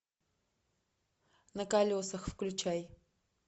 на колесах включай